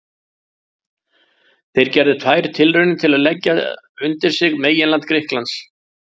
Þeir gerðu tvær tilraunir til að leggja undir sig meginland Grikklands.